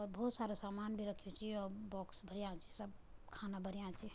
और बहौत सारा सामान भी रख्युं च यौ बॉक्स भर्यां छी सब खाना भर्यां छी।